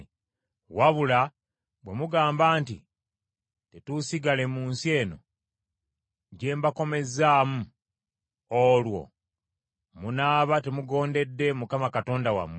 “Wabula bwe mugamba nti, ‘Tetuusigale mu nsi eno gye mbakomezzaamu,’ olwo munaaba temugondedde Mukama Katonda wammwe.